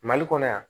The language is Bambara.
Mali kɔnɔ yan